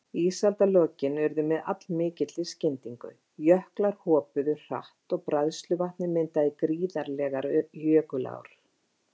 Ísaldarlokin urðu með allmikilli skyndingu, jöklar hopuðu hratt og bræðsluvatnið myndaði gríðarlegar jökulár.